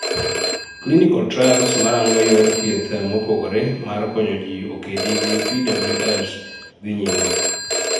Clinical trials marango yor thieth mopogore mar konyo ji okedi gi PWS dhii nyime